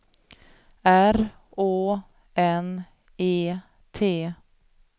R Å N E T